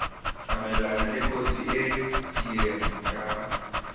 tsamayelana lekotsi e kieng ya